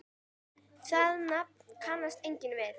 Það nafn kannast enginn við.